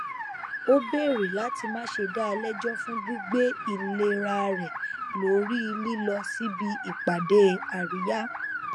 ó bèrè láti má ṣe dá a lẹjọ fún gbígbé ìlera rẹ lórí lílọ síbi ìpàdé àríyá